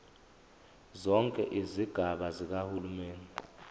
zonke izigaba zikahulumeni